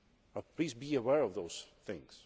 But please be aware of those things.